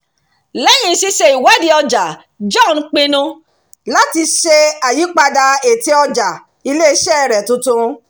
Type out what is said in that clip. lẹ́yìn ṣíṣe ìwádìí ọjà john pinnu láti ṣe àyípadà ète ọjà ilé-iṣẹ́ rẹ̀ tuntun